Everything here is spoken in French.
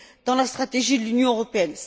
dans la stratégie de l'Union européenne?